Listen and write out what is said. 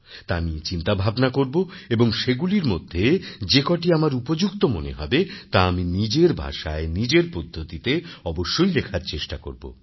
তা নিয়ে চিন্তাভাবনা করব এবং সেগুলির মধ্যে যে কটি আমার উপযুক্ত মনে হবে তা আমি নিজের ভাষায় নিজের পদ্ধতিতে অবশ্যই লেখার চেষ্টা করব